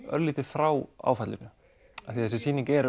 örlítið frá áfallinu af því að þessi sýning er